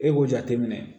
E b'o jateminɛ